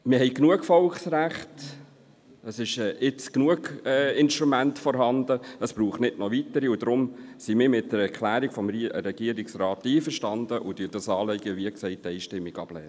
Wir haben genügend Volksrechte, es sind genügend Instrumente vorhanden, und deshalb sind wir mit der Erklärung des Regierungsrats einverstanden und lehnen dieses Anliegen einstimmig ab.